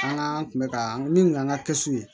An ka tun bɛ ka min kun kan ka kɛsu ye